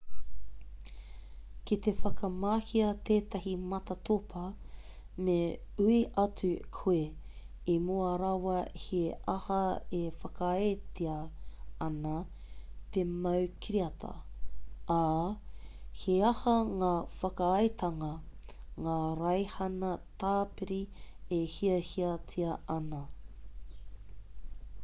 ki te whakamahia tētahi matatopa me ui atu koe i mua rawa he aha e whakaaetia ana te mau kiriata ā he aha ngā whakaaetanga ngā raihana tāpiri e hiahiatia ana